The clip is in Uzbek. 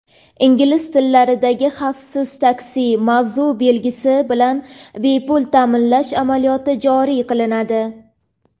ingliz tillaridagi) "xavfsiz taksi" maxsus belgisi bilan bepul ta’minlash amaliyoti joriy qilinadi.